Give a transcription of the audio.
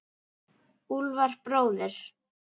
Úlfar bróðir.